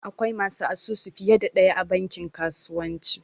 Akwai masu asusu fiye da ɗaya a bankin kasuwanci